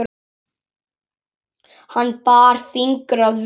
Hann bar fingur að vör.